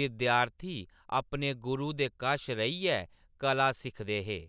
विद्यार्थी अपने गुरू दे कश रेहियै कला सिक्खदे हे।